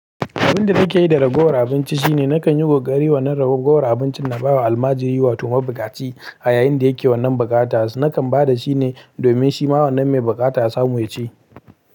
Abin da nake yi da ragowar abinci shine nakan yi kokari wannan ragowar abincin na ba wa almajiri wato mabukaci a yayin da yake wannan bukata. Nakan ba da shi ne domin shi ma wannan mai bukata ya samu ya ci.